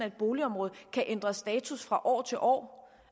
et boligområde kan ændre status fra år til år